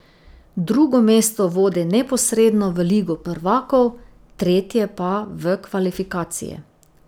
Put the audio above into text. Drugo mesto vodi neposredno v Ligo prvakov, tretje pa v kvalifikacije.